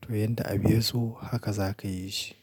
To yanda abun ya so haka za ka yi shi.